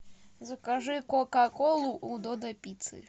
закажи кока колу у додо пиццы